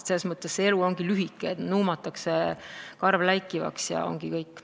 See elu on lühike, nuumatakse karv läikivaks ja ongi kõik.